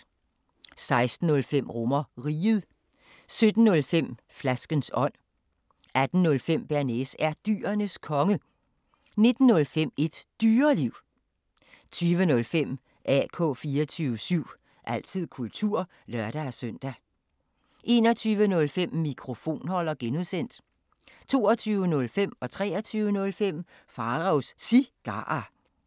16:05: RomerRiget 17:05: Flaskens ånd 18:05: Bearnaise er Dyrenes Konge 19:05: Et Dyreliv 20:05: AK 24syv – altid kultur (lør-søn) 21:05: Mikrofonholder (G) 22:05: Pharaos Cigarer 23:05: Pharaos Cigarer